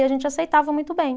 E a gente aceitava muito bem.